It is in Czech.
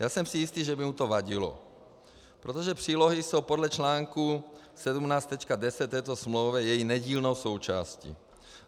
Já jsem si jistý, že by mu to vadilo, protože přílohy jsou podle článku 17.10 této smlouvy její nedílnou součástí.